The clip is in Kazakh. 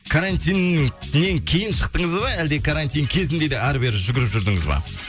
карантиннен кейін шықтыңыз ба әлде карантин кезінде де әрі бері жүгіріп жүрдіңіз ба